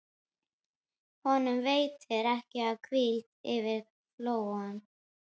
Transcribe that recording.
Honum veitir ekki af hvíldinni yfir flóann.